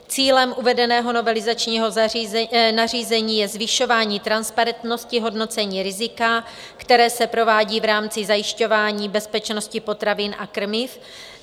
Cílem uvedeného novelizačního nařízení je zvyšování transparentnosti hodnocení rizika, které se provádí v rámci zajišťování bezpečnosti potravin a krmiv.